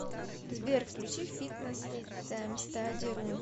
сбер включи фитнес таймстади ру